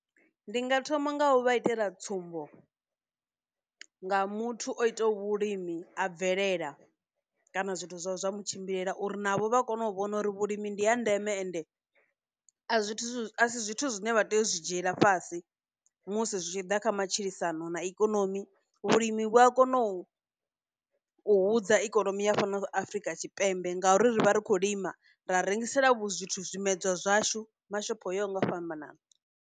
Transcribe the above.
Ndi nga thoma nga u vha itela tsumbo nga muthu o itaho vhulimi a bvelela kana zwithu zwawe zwa mutshimbilela uri navho vha kone u vhona uri vhulimi ndi ya ndeme ende a zwithu zwithu zwine vha tea u zwi dzhiela fhasi musi zwi tshi ḓa kha matshilisano na ikonomi vhulimi vhu a kona u hudza ikonomi ya fhano afrika tshipembe ngauri ri vha ri khou lima ra rengisela vhu zwithu zwimedzwa zwashu mashopho oyaho nga u fhambanana.